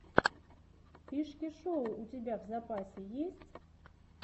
фишки шоу у тебя в запасе есть